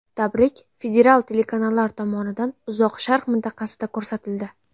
Tabrik federal telekanallar tomonidan Uzoq Sharq mintaqasida ko‘rsatildi.